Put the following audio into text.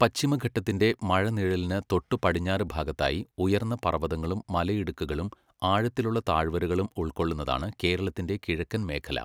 പശ്ചിമഘട്ടത്തിന്റെ മഴനിഴലിന് തൊട്ടു പടിഞ്ഞാറ് ഭാഗത്തായി ഉയർന്ന പർവ്വതങ്ങളും മലയിടുക്കുകളും ആഴത്തിലുള്ള താഴ്വരകളും ഉൾക്കൊള്ളുന്നതാണ് കേരളത്തിന്റെ കിഴക്കൻ മേഖല.